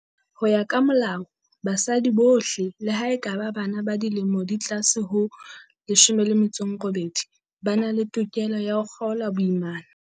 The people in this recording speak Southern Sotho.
Ho ya ka Molao, basadi bohle, le ha e ka ba bana ba dilemo di ka tlase ho 18, ba na le tokelo ya ho kgaola boimana.